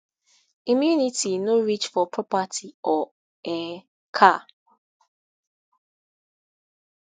immunity no reach for property or um car